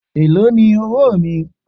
Èló ni owóò mi?